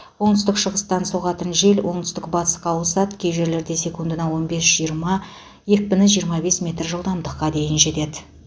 оңтүстік шығыстан соғатын жел оңтүстік батысқа ауысады кей жерлерде секундына он бес жиырма екпіні жиырма бес метр жылдамдыққа дейін жетеді